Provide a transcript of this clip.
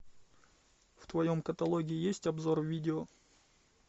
в твоем каталоге есть обзор видео